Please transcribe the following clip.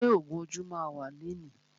Ṣé ògún ojú ma wà lẹni?